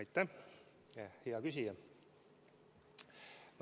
Aitäh, hea küsija!